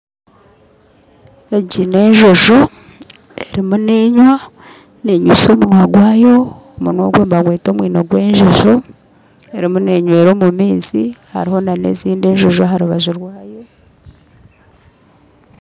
Egi n'enjojo erimu nenywa nenywesa omunwa gwayo, omunwa ogwe nibagweta omwino gw'enjojo, erimu n'enywera omu maizi hariho na n'ezindi enjojo aharubaju rwayo.